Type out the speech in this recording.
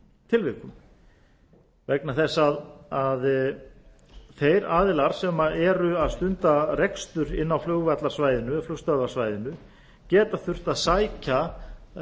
tilvikum vegna þess að þeir aðilar sem eru að stunda rekstur inni á flugvallarsvæðinu eða flugstöðvarsvæðinu geta þurft að sækja